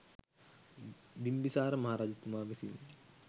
බිම්බිසාර මහරජතුමා විසිනි.